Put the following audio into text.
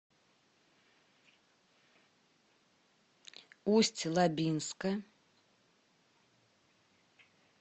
усть лабинска